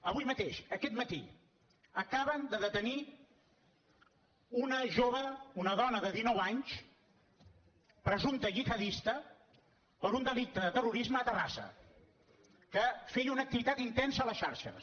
avui mateix aquest matí acaben de detenir una jove una dona de dinou anys presumpta gihadista per un delicte de terrorisme a terrassa que feia una activitat intensa a les xarxes